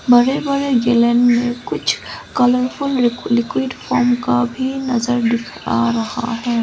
बड़े बड़े जिलेन में कुछ कलरफुल लिक्विड फोम का भी नजर आ रहा है।